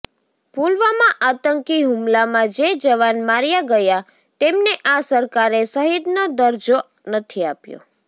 પુલવામા આતંકી હુમલામાં જે જવાન માર્યા ગયા તેમને આ સરકારે શહીદનો દરજ્જો નથી આપ્યો